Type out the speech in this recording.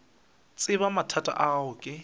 tseba mathata a gago ke